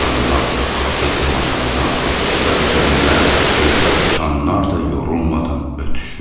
Qaçanlar da, ağaca dırmaşanlar da, suda üzənlər də, göydə uçanlar da yorulmadan ötüşürdü.